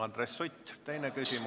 Andres Sutt, teine küsimus.